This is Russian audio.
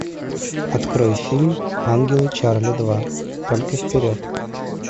открой фильм ангелы чарли два только вперед